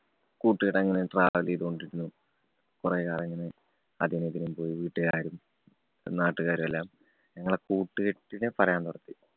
കൂട്ടുകാരങ്ങനെ travel ചെയ്തു കൊണ്ടിരുന്നു. കൊറേകാലം ഇങ്ങനെ അതിനും ഇതിനും പോയി വീട്ടുകാരായാലും നാട്ടുകാരായാലും ഞങ്ങളെ കൂട്ടുകെട്ടിനെ പറയാന്‍ നിര്‍ത്തി.